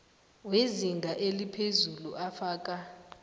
wezinga eliphezulu afaka